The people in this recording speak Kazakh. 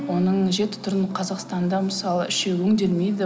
оның жеті түрін қазақстанда мысалы үшеуі өңделмейді